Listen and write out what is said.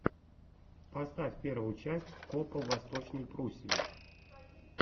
поставь первую часть копа в восточной пруссии